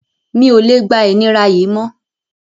Mi ò lè gba ìnira yìí mọ́